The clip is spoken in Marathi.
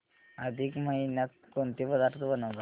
अधिक महिन्यात कोणते पदार्थ बनवतात